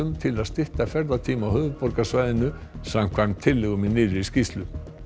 til að stytta ferðatíma á höfuðborgarsvæðinu samkvæmt tillögum í nýrri skýrslu